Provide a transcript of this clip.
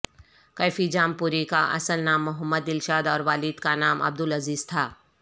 کیفی Jampuri کا اصل نام محمد دلشاد اور والد کا نام عبد العزیز تھا